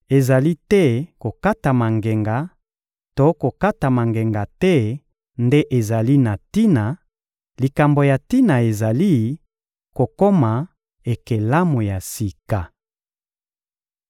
Ezali te kokatama ngenga to kokatama ngenga te nde ezali na tina; likambo ya tina ezali: kokoma ekelamu ya sika.